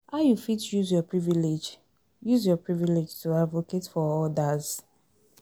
how you fit use your privilege use your privilege to advocate for odas?